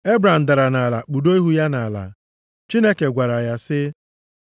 Ebram dara nʼala, kpudo ihu ya nʼala. Chineke gwara ya sị,